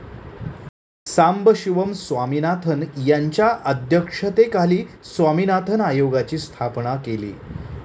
सांबशिवम स्वामिनाथन यांच्या अध्यक्षतेखाली स्वामिनाथन आयोगाची स्थापना केली.